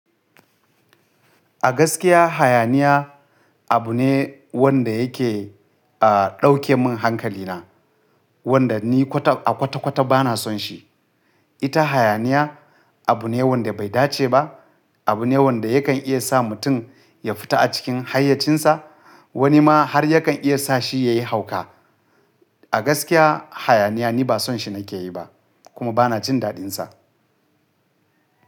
A gaskiya hayaniya abu ne wanda yake, a ɗauke min hankali na, wanda ni kwata a kwata kwata ba na son shi. Ita hayaniya abu ne wanda bai dace ba, abu ne wanda yakan iya sa mutum ya fita a cikin hayyacinsa. Wani ma har yakan iya sa shi ya yi hauka. A gaskiya hayaniya ni ba son shi na ke yi ba kuma ba na jin daɗin sa.